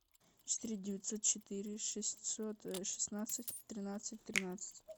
четыре девятьсот четыре шестьсот шестнадцать тринадцать тринадцать